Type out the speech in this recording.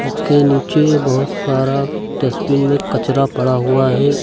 इसके नीचे बहोत सारा डस्टबीन में कचरा पड़ा हुआ है।